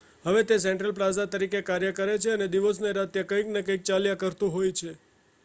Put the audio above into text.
હવે તે central plaza તરીકે કાર્ય કરે છે અને દિવસ ને રાત ત્યાં કંઈક ને કંઈક ચાલ્યા કરતું હોય છે